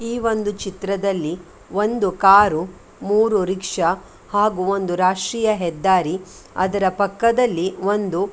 ಈ ಒಂದು ಚಿತ್ರದಲ್ಲಿ ಒಂದು ಕಾರು ಮೂರು ರಿಕ್ಷಾ ಹಾಗು ಒಂದು ರಾಷ್ಟೀಯ ಹೆದ್ದಾರಿ ಅದರ ಪಕ್ಕದಲ್ಲಿ ಒಂದು --